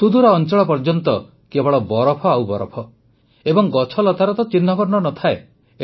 ସୁଦୂର ଅଂଚଳ ପର୍ଯ୍ୟନ୍ତ କେବଳ ବରଫ ଆଉ ବରଫ ଏବଂ ଗଛଲତାର ତ ଚିହ୍ନବର୍ଣ୍ଣ ନ ଥାଏ